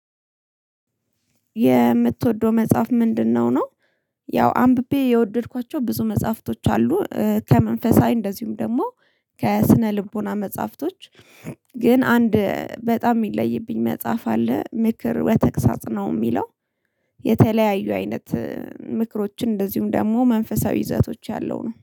የምትወደው መጽሐፍ ምንድነው ነው? ያው አንብቤ የወደድኳቸው ብዙ መጽሐፍቶች አሉ ከመንፈሳዊ እንደዚሁም ደግሞ ከስነ ልቦና መጽሐፍቶች። ግን አንድ በጣም ይለይብኝ መጽሐፍ አለ ምክር ወተቅሳጽ ነው የሚለው። የተለያዩ አይነት ምክሮችን እንደዚሁም ደግሞ መንፈሳዊ ይዘቶች ያለው ነው